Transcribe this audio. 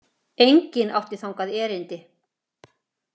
Enginn átti þangað erindi.